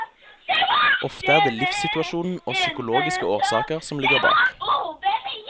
Ofte er det livssituasjonen og psykologiske årsaker som ligger bak.